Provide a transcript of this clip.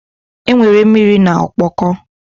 Enwere mmiri na ọkpọkọ